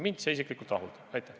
Mind isiklikult see rahuldab.